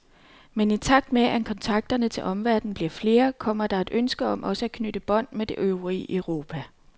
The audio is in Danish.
Men i takt med, at kontakterne til omverden bliver flere, kommer der et ønske om også at knytte bånd med det øvrige Europa.